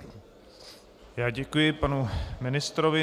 Já děkuji panu ministrovi.